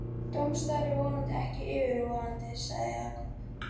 Dómsdagur er vonandi ekki yfirvofandi sagði Jakob.